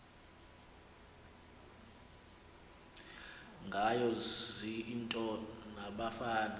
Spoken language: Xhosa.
ngayo ziintombi nabafana